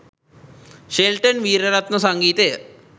Shelton Weeraratne සංගීතය